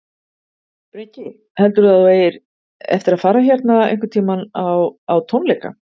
Breki: Heldurðu að þú eigir eftir að fara hérna einhvern tímann á, á tónleika?